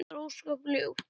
Það er ósköp ljúft.